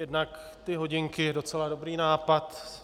Jednak ty hodinky, docela dobrý nápad.